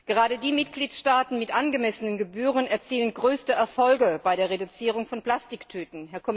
Gerade die Mitgliedstaaten mit angemessenen Gebühren erzielen größte Erfolge bei der Reduzierung von Plastiktüten.